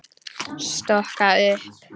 Stokka upp.